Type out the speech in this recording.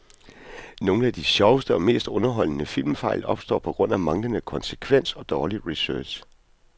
Nogle af de sjoveste og mest underholdende filmfejl opstår på grund af manglende konsekvens og dårlig research.